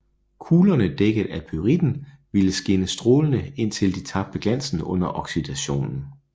Kuglerne dækket af pyritten ville skinne strålende indtil de tabte glansen under oksidationen